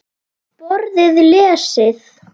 Borðið lesið.